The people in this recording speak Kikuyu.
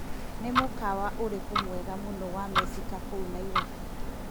Nĩ mũkawa ũrĩkũ mwega mũno wa Mecika kũu Naĩrobĩ .